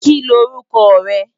Ki l órúkò re?